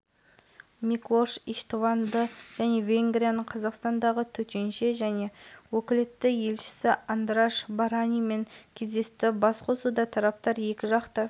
оның айтуынша қазіргі уақытта ел қатысушы ретінде аккредитациядан өтті тағы да басқа спортшылар жарыс уақыттарында келіп